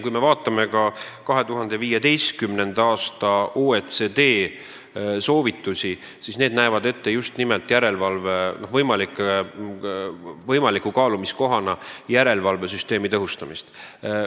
Kui me vaatame OECD 2015. aasta soovitusi, siis need näevad võimaliku kaalumiskohana just nimelt järelevalvesüsteemi tõhustamist.